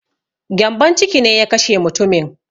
Gyambon ciki ne ya kashe mutumin